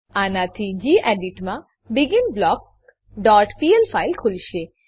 આનાથી ગેડિટ માં begin block dot PL file ખુલશે